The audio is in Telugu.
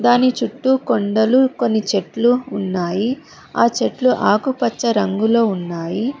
దాని చుట్టూ కొండలు కొన్ని చెట్లు ఉన్నాయి ఆ చెట్లు ఆకుపచ్చ రంగులో ఉన్నాయి.